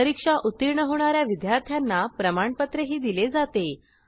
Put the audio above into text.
परीक्षा उत्तीर्ण होणा या विद्यार्थ्यांना प्रमाणपत्रही दिले जाते